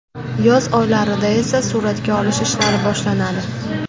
Yoz oylarida esa suratga olish ishlari boshlanadi.